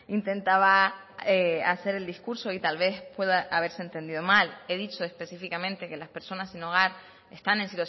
intentaba hacer el discurso y tal vez pueda haberse entendido mal he dicho específicamente que las personas sin hogar están en